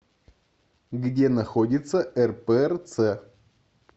где находится рпрц